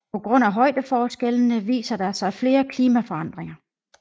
På grund af højdeforskellene viser der sig flere klimaforandringer